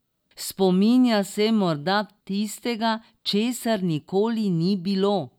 Spominja se morda tistega, česar nikoli ni bilo.